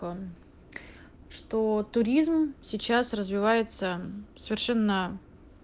он что туризм сейчас развивается совершенно